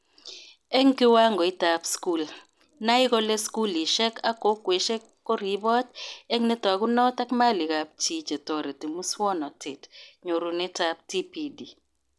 Eng kiwangoitab skul:nai kole skulishek ak kokweshek ko ribot ak netakunot ak malikab chi chetoreti muswonotet-nyurunetab TPD